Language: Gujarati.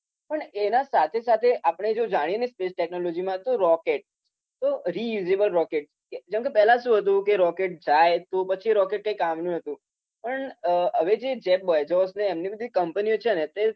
પણ એના સાથે સાથે આપણે જો જાણીએને સ્પેસ ટેક્નોલોજીમાં તો રોકેટ. તો રીયુઝેબલ રોકેટ. પેલા શું હતુ કે રોકેટ જાય. પછી રોકેટ કંઈ કામનુ નતુ. પણ હવે જે બેઝોસને એવી બધી કંપનીઓ છે ને